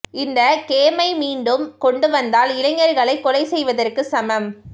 இந்த கேமை மீண்டும் கொண்டு வந்தால் இளைஞர்களை கொலை செய்வதற்கு சமம்